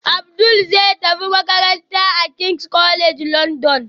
Abdul zai tafi makaranta a king's college london